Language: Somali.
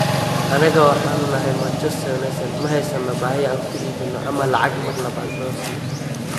"Anaga waxaanu nahay Manchester United, ma haysano baahi aan ku iibino ama lacag mar labaad loo siiyo."